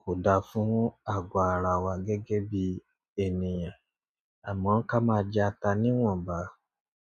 kò da fún àgọ́ ara wa gẹ́gẹ́ bí ènìyàn. Àmọ́ ká máa jẹ ata níwọ̀nba.